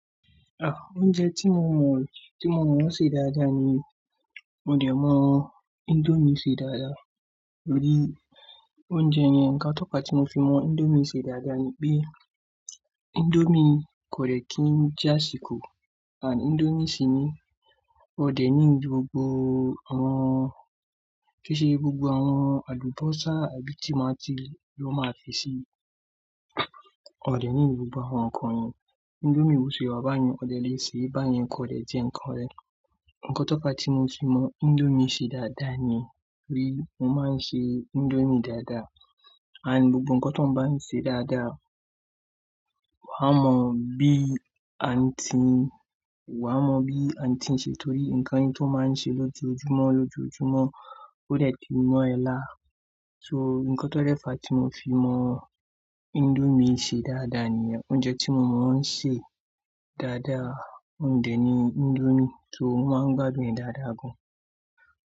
Ah! Oúnjẹ tí mo mọ, tí mo mọ ṣe dáadáa ni, mo dẹ̀ mọ índómì ṣe dáadáa torí oúnjẹ yẹn. Ǹkan tó pa tí mo fi mọ índómì ṣe dáadáa ni pé índómì kò lè kí ń jásikò àti índómì sì ní ọ̀dẹ̀ nílo gbogbo àwọn, kí í ṣe gbogbo àwọn àlùbósà àbí tímáati, tí wọ́n máa fi ṣe ọ̀ dẹ̀ nílo gbogbo àwọn nǹkan yẹn. Índómì bọ̀sẹ̀ bàyẹn, ọ̀dẹ̀ lè ṣe, bàyẹn kò dẹ̀ je nǹkan rẹ. Ǹkan tó fa tí mo fi mọ índómì ṣe dáadáa ni pe mo máa ń ṣe índómì dáadáa. Àti gbogbo ǹkan tó ń bá mi ṣe dáadáa, wàá mọ bí àǹtí, wà á mọ bí àǹtí ń ṣe torí ǹkan yẹn tó máa ń ṣe lójoojúmọ́ lójoojúmọ́ kò de ti mọ́ ẹ lá. So ǹkan tó dẹ́fa tí mo fi mọ índómì ṣe dáadáa ni oúnjẹ tí mo mọ ń ṣe dáadáa. Òǹdè ni índómì, so mo máa ń gbádùn dáadáa gan.